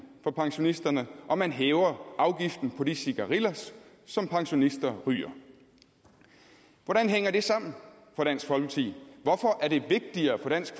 for pensionisterne og man hæver afgiften på de cigarillos som pensionister ryger hvordan hænger det sammen for dansk folkeparti hvorfor er det vigtigere for dansk